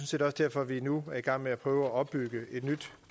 set også derfor at vi nu er i gang med at prøve at opbygge et nyt